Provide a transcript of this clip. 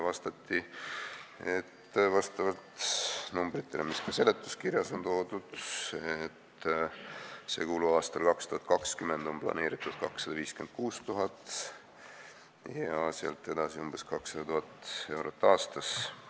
Vastati, et vastavalt numbritele, mis ka seletuskirjas on toodud, on aastaks 2020 planeeritud 256 000 ja sealt edasi umbes 200 000 eurot aastas.